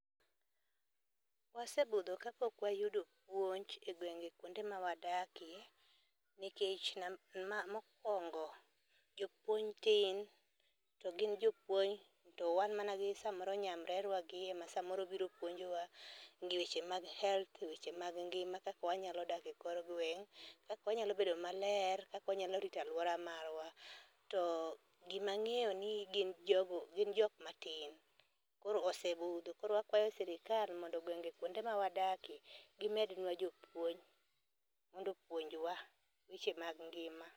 Wasebudho ka pok wayudo puonj e gwenge kuonde ma wadakie nikech mokwongo, jopuonj tin to gin jopuonj to wan mana gi samoro nyamrerwa gi ema samoro biro puonjora weche mag health weche mag ngima kaka wanyalo dak e kor gweng', kak wanyalo bedo maler, kaka wanyalo rito aluowa marwa. To gima ng'eyo ni gin jogo gin jok matin koro osebudho. Koro akwayo sirikal mondo e gwenge kuonde ma wadakie gimedwa jopuonj mondo opuonjwa weche mag ngima.